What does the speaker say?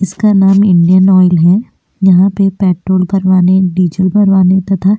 इसका नाम Indian oil है यहाँ पे पेट्रोल भरवाने डीज़ल भरवाने तथा --